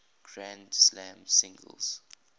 grand slam singles